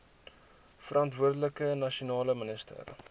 verantwoordelike nasionale minister